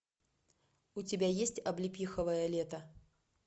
у тебя есть облепиховое лето